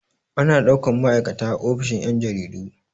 Ana ɗaukan ma'aikata a ofishin yan' jaridu.